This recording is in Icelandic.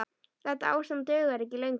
Þetta ástand dugar ekki lengur.